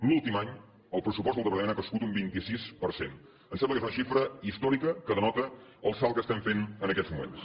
l’últim any el pressupost del departament ha crescut un vint sis per cent em sembla que és una xifra històrica que denota el salt que estem fent en aquests moments